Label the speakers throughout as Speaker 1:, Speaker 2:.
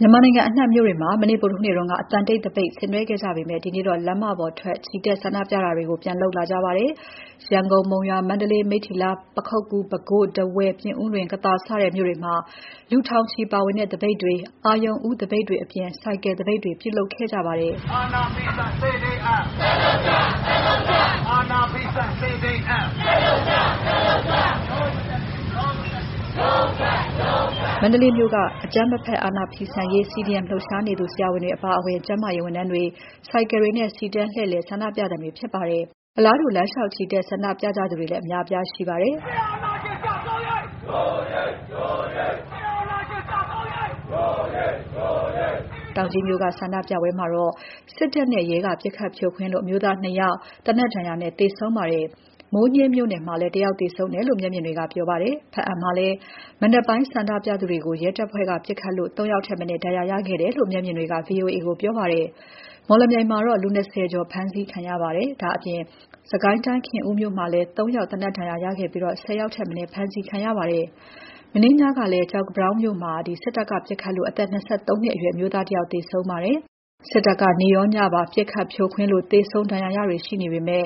Speaker 1: မြန်မာနိုင်ငံအနှံ့မြို့တွေမှာ မနေ့ ဗုဒ္ဓဟူးနေ့က အသံတိတ်သပိတ်ဆင်နွဲှခဲ့ကြပေမဲ့ ဒီကနေ့တော့ လမ်းမပေါ်ချီတက်ဆန္ဒပြတာတွေ ပြန်လုပ်လာကြပါတယ်။ ရန်ကုန်၊ မုံရွာ၊ မန္တလေး၊ မိတ္ထီလာ၊ ပခုက္ကူ၊ ပဲခူး၊ ထားဝယ်၊ ပြင်ဦးလွင်၊ ကသာစတဲ့မြို့တွေမှာ လူထောင်ချီပါဝင်တဲ့သပိတ်တွေ၊ အရုဏ်ဦးသပိတ်တွေအပြင် ဆိုင်ကယ်သပိတ်တွေ ပြုလုပ်ခဲ့ကြပါတယ်။ မန္တလေးမြို့က အကြမ်းမဖက် အာဏာဖီဆန်ရေး CDM လှုပ်ရှားသူ ဆရာဝန်တွေအပါအဝင် ကျန်းမာရေးဝန်ထမ်းတွေ၊ ဆိုင်ကယ်တွေနဲ့ စီတန်းလှည့်လည် ဆန္ဒပြသံတွေဖြစ်ပါတယ်။ အလားတူ လမ်းလေ ျှာက် ချီတက်ဆန္ဒပြသူတွေလည်း အများအပြားရှိပါတယ်။ "စစ်အာဏာရှင် ကျဆုံးရေး... ဒို့အရေး ဒို့အရေး၊ စစ်အာဏာရှင် ကျဆုံးရေး... ဒို့အရေး ဒို့အရေး။" တောင်ကြီးက ဆန္ဒပြပွဲမှာတော့ စစ်တပ်နဲ့ ရဲက ပစ်ခတ်ဖြိုခွင်းလို့ အမျိုးသား ၂ ဦး သေနတ်ဒဏ်ရာနဲ့ သေဆုံးခဲ့ပါတယ်။ မိုးညှင်းမြို့နယ်မှာလည်း တစ်ဦးသေဆုံးခဲ့တယ်လို့ မျက်မြင်တွေက ပြောပါတယ်။ ဘားအံမှာလည်း မနက်ပိုင်း ဆန္ဒပြနေသူတွေကို ရဲတပ်ဖွဲ့က ပစ်ခတ်ဖြိုခွင်းလို့ ၃ ဦးထက် မနည်းဒဏ်ရာရခဲ့တယ်လို့ မျက်မြင်တွေက ဗွီအိုအေကိုပြောပါတယ်။ မော်လမြိုင်မှာတော့ လူ ၂၀ ကျော် ဖမ်းဆီးခံရပါတယ်။ ဒါ့အပြင် စစ်ကိုင်းတိုင်း ခင်ဦးမြို့မှာလည်း ၃ ဦး သေနတ်ဒဏ်ရာရခဲ့ပြီးတော့ ၁၀ ဦးထက်မနည်း ဖမ်းဆီးခံရပါတယ်။ မနေ့ညကလည်း ကျောက်ပန်းတောင်းမြို့မှာ စစ်ကောင်စီတပ်က ပစ်ခတ်လို့ အသက် ၂၃ နှစ်အရွယ် အမျိုးသား တစ်ဦးသေဆုံးခဲ့ပါတယ်။ စစ်ကောင်စီတပ်က နေ့ရော၊ ညပါ ပစ်ခတ်ဖြိုခွင်းလို့ သေဆုံးဒဏ်ရာရတာတွေ ရှိနေပမဲ့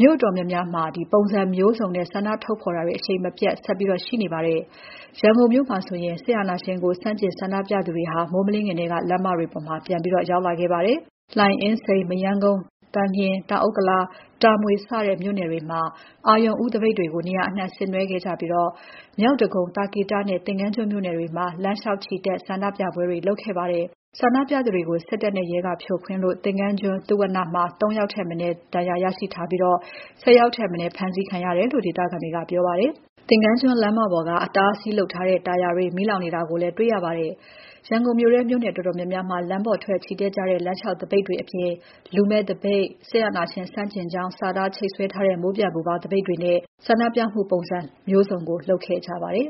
Speaker 1: မြို့အတော်များများမှာတော့ ပုံစံမျိုးစုံနဲ့ ဆန္ဒထုတ်ဖော်တာတွေ အရှိန်မပျက်ဆက်ရှိနေဆဲပါ။ ရန်ကုန်မြို့မှာဆိုရင် စစ်အာဏာရှင်ကို ဆန့်ကျင်ဆန္ဒပြသူတွေ မိုးမလင်းခင်ကတည်းက လမ်းမတွေပေါ် ပြန်ရောက်လာခဲ့ပါတယ်။ လှိုင်၊ အင်းစိန်၊ မရမ်းကုန်း၊ ၊ သန်လျင်၊ တောင်ဥက္ကလာ၊ တာမွေစတဲ့ မြို့နယ်တွေမှာ အရုဏ်ဦး သပိတ်တွေကို နေရာအနှံ့ဆင်နွှဲခဲ့ကြပြီးတော့ မြောက်ဒဂုံ၊ သာကေတနဲ့ သင်္ဃန်းကျွန်းမြို့နယ်တွေမှာ လမ်းလျှောက်ချီတက်ဆန္ဒပြကြပါတယ်။ ဆန္ဒပြသူတွေကို စစ်တပ်နဲ့ ရဲကဖြိုခွင်းလို့ သင်္ဃန်းကျွန်း သုဝဏ္ဏမှာ ၃ ဦးထက်မနည်း ဒဏ်ရာရရှိထားပြီး ၁၀ ဦးထက်မနည်း ဖမ်းဆီးခံရတယ်လို့ ဒေသခံတွေက ပြောပါတယ်။ သင်္ဃန်းကျွန်း လမ်းမပေါ်က အတားအဆီးလုပ်ထားတဲ့ တာယာတွေ မီးလောင်နေတာလည်းတွေ့ရပါတယ်။ ရန်ကုန်မြို့ထဲ မြို့နယ်အတော်များများမှာ လမ်းပေါ်ထွက် ချီတက်ကြတဲ့ လမ်းလျှောက်သပိတ်တွေအပြင် လူမဲ့သပိတ်၊ စစ်အာဏာရှင်ဆန့်ကျင်ကြောင်း စာသားချိတ်ဆွဲထားတဲ့ မိုးပျံပူဖေါင်းသပိတ်တွေနဲ့ ပုံစံမျိုးစုံဆင်နွဲှခဲ့ကြပါတယ်